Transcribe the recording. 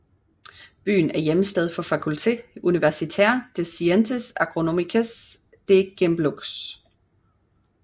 Byen er hjemsted for Faculté universitaire des Sciences agronomiques de Gembloux